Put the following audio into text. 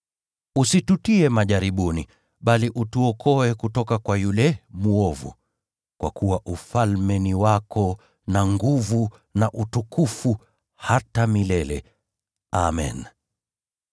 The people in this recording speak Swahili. Usitutie majaribuni, bali utuokoe kutoka kwa yule mwovu [kwa kuwa Ufalme ni wako, na nguvu, na utukufu, hata milele. Amen].’